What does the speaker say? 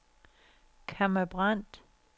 Kamma Brandt